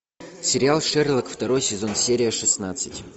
сериал шерлок второй сезон серия шестнадцать